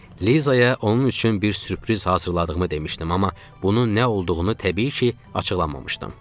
Lizaya onun üçün bir sürpriz hazırladığımı demişdim, amma bunun nə olduğunu təbii ki, açıqlamamışdım.